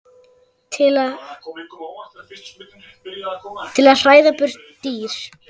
til að hræða burt dýr.